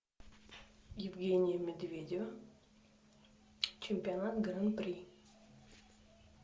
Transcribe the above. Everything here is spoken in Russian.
евгения медведева чемпионат гран при